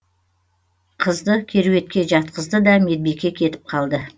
қызды керуетке жатқызды да медбике кетіп қалды